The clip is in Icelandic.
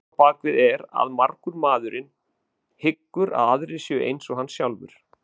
Hugmyndin að baki er að margur maðurinn hyggur að aðrir séu eins og hann sjálfur.